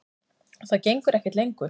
Og það gengur ekkert lengur.